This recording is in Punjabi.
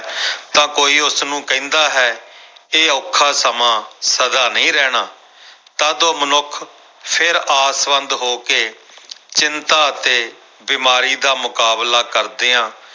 ਤਾਂ ਕੋਈ ਉਸਨੂੰ ਕਹਿੰਦਾ ਹੈ ਇਹ ਔਖਾ ਸਮਾਂ ਸਦਾ ਨਹੀਂ ਰਹਿਣਾ ਤਦ ਉਹ ਮਨੁੱਖ ਫਿਰ ਆਸਵੰਦ ਹੋ ਕੇ ਚਿੰਤਾ ਅਤੇ ਬਿਮਾਰੀ ਦਾ ਮੁਕਾਬਲਾ ਕਰਦਿਆਂ